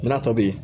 N'a tɔ bɛ ye